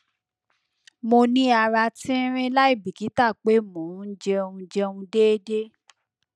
mo ni ara tinrin laibikita pe mo n jẹun jẹun deede